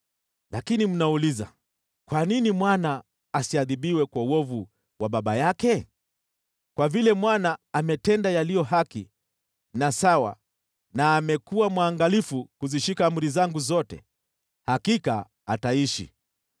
“Lakini mnauliza, ‘Kwa nini mwana asiadhibiwe kwa uovu wa baba yake?’ Kwa vile mwana ametenda yaliyo haki na sawa na amekuwa mwangalifu kuzishika amri zangu zote, hakika ataishi.